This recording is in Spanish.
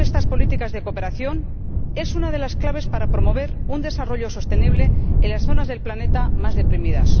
éxito de estas políticas de cooperación es una de las claves para promover un desarrollo sostenible en las zonas del planeta más deprimidas.